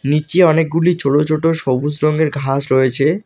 নীচে অনেকগুলি ছোট ছোট সবুজ রঙের ঘাস রয়েছে।